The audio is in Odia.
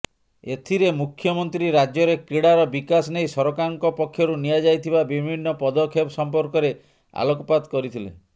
ଏଥିରେ ମୁଖ୍ୟମନ୍ତ୍ରୀ ରାଜ୍ୟରେ କ୍ରୀଡ଼ାର ବିକାଶ ନେଇ ସରକାରଙ୍କ ପକ୍ଷରୁ ନିଆଯାଇଥିବା ବିଭିନ୍ନ ପଦକ୍ଷେପ ସମ୍ପର୍କରେ ଆଲୋକପାତ କରିଥିଲେ